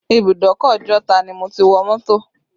Ìbùdókọ̀ Ojota ni mo ti wọ mọ́tò